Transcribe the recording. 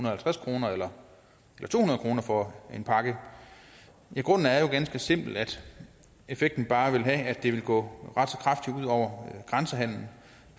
og halvtreds kroner eller to hundrede kroner for en pakke grunden er jo ganske simpelt at effekten bare vil være at det vil på grænsehandelen